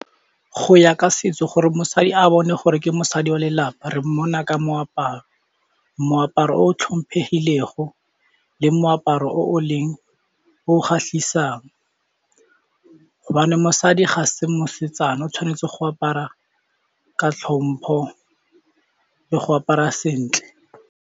Go ya ka setso gore mosadi a bone gore ke mosadi wa lelapa re mmona ka moaparo, moaparo o tlhomphegilego le moaparo o o leng o kgatlhisang hobane mosadi ga se mosetsana o tshwanetse go apara ka tlhompho le go apara sentle.